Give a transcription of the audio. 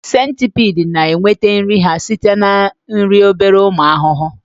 Centipedes na-enweta nri ha site na iri obere ụmụ ahụhụ